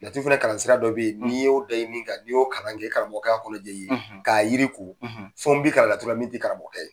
Laturu fana kalansira dɔ bɛ yen n'i y'o da i ni kan, n'i y'o kalan kɛ, i karamɔgɔ ka kɔnɔjɛ i ye k'a yiri ko fɛn bi kalan laturula min ti karamɔgɔkɛ ye